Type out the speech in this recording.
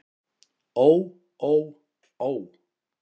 Ó ó ó.